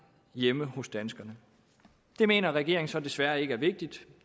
hjemme hos danskerne det mener regeringen så desværre ikke er vigtigt